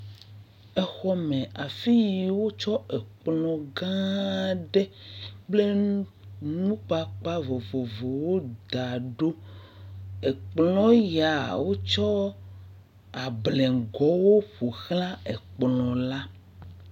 Exɔ me, afi yi wo tsɔ ekplɔ̃ gã ɖe kple nukpakpa vovovowo da ɖo, ekplɔ̃ ya o tsɔ ablengo wo ƒoxlã ekplɔ̃ la.